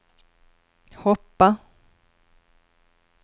hoppa